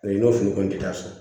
N'o fili kɔni tɛ taa so